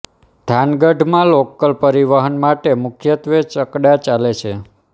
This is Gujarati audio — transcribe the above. થાનગઢ માં લોકલ પરિવહન માટે મુખ્યત્વે છકડા ચાલે છે